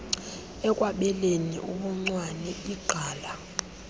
ekwabeleni ubuncwane igqala